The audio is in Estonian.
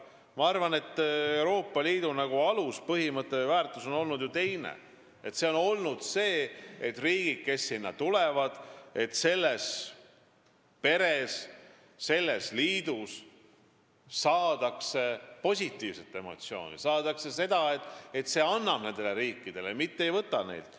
Ma arvan, et Euroopa Liidu aluspõhimõte või -väärtus on teine olnud – see, et riigid, kes sellesse liitu tulevad, saaksid selles peres positiivseid emotsioone ehk riikidele antakse, mitte ei võeta neilt.